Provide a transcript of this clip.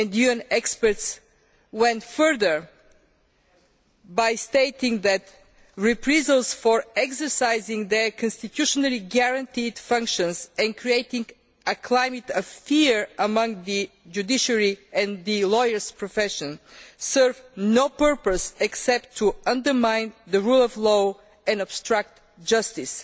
UN experts went further by stating that reprisals for exercising their constitutionally guaranteed functions and creating a climate of fear among the judiciary and the lawyers' profession served no purpose except to undermine the rule of law and obstruct justice,